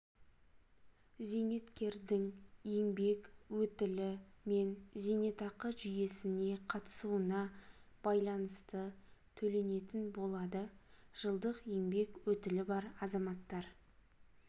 зейнеткердің еңбек өтілі мен зейнетақы жүйесіне қатысуына байланысты төленетін болады жылдық еңбек өтілі бар азаматтар